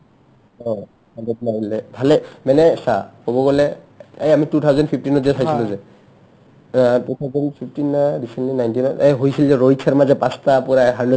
অ, hundred মাৰিলে ভালে মানে চা ক'ব গ'লে এ আমি two thousand fifteen ত যে চাইছিলো যে অ two thousand fifteen নে দিছিলে nineteen ত এ হৈছে যে ৰহিত শৰ্মা যে পাচটা পাৰাই হান্